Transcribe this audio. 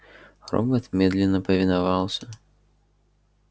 робот медленно повиновался